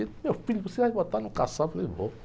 E ele, meu filho, você vai botar no, eu falei, vou.